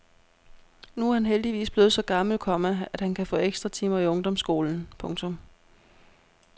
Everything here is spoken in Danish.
Nu er han heldigvis blevet så gammel, komma at han kan få ekstra timer i ungdomsskolen. punktum